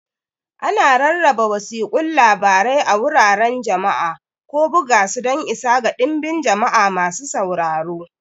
Ana rarraba wasiƙun labarai a wuraren jama'a, ko buga su don isa ga dinbin jama'a masu sauraro.